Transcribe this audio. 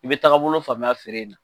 I bɛ taga taabolo faamuya feere in na.